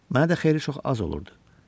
Mənə də xeyli çox az olurdu.